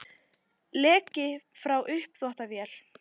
Leki frá uppþvottavél